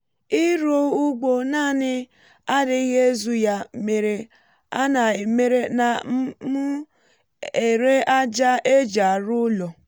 ịrụ ugbo naanị adịghị ezu ya mere a na mere a na m ere ájá éjì arụ ụlọ